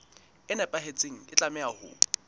e nepahetseng e tlameha ho